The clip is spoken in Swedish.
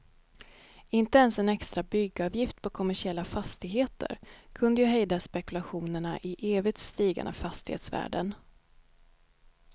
Inte ens en extra byggavgift på kommersiella fastigheter kunde ju hejda spekulationerna i evigt stigande fastighetsvärden.